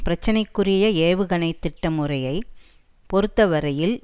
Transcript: பிரச்சனைக்குரிய ஏவுகணை திட்ட முறையை பொறுத்தவரையில்